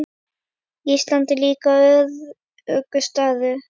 Ísland er líka öruggur staður.